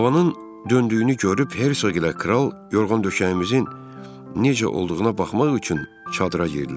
Havanın döndüyünü görüb Hersoq ilə kral yorğan döşəyimizin necə olduğuna baxmaq üçün çadıra girdilər.